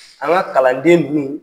An ka kalanden